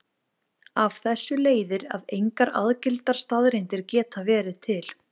Af þessu leiðir að engar algildar staðreyndir geta verið til.